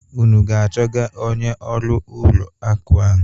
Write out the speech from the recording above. Unu aga-achọga onye ọrụ ụlọ akụ ahụ?